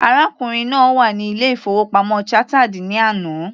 Arákùnrin náà wà ní ilé- ìfowópamọ́ Chartered ní àná.